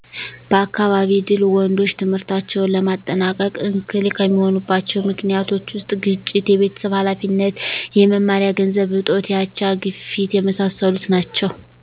በአካባቢ ድል ወንዶች ትምህርታቸውን ለማጠናቀቅ እክል ከሚሆኑባቸዊ ምክኒቶች ውስጥ ግጭት፣ የቤተሰብ ሀላፊነት፣ የመማሪያ ገንዘብ እጦት፣ የአቻ፣ ግፊት የመሣሠሉት ናቸው።